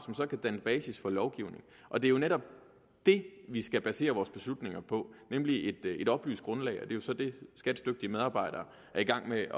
så kan danne basis for lovgivning og det er jo netop det vi skal basere vores beslutninger på nemlig et oplyst grundlag og det er så det skats dygtige medarbejdere er i gang med